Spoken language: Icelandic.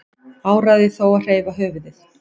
Áræði þó að hreyfa höfuðið.